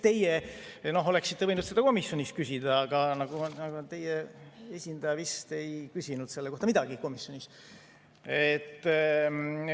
Teie oleksite võinud seda komisjonis küsida, aga teie esindaja vist ei küsinud selle kohta komisjonis midagi.